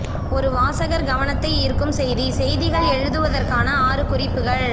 ஒரு வாசகர் கவனத்தை ஈர்க்கும் செய்தி செய்திகள் எழுதுவதற்கான ஆறு குறிப்புகள்